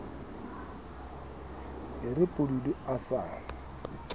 e re pududu a sa